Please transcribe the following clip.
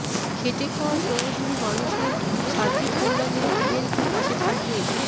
খেটে খাওয়া শ্রমজীবী মানুষের সার্বিক কল্যাণে বিএনপি পাশে থাকবে